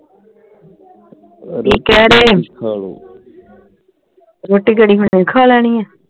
ਕਿ ਰੋਟੀ ਕਿਹੜੀ ਹੁਣੇ ਹੀ ਖਾ ਲੈਣੀ ਆ